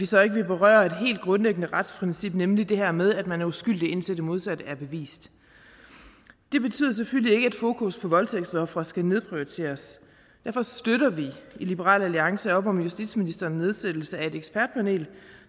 så ikke ville berøre et helt grundlæggende retsprincip nemlig det her med at man er uskyldig indtil det modsatte er bevist det betyder selvfølgelig ikke at fokus på voldtægtsofre skal nedprioriteres derfor støtter vi i liberal alliance op om justitsministerens nedsættelse af et ekspertpanel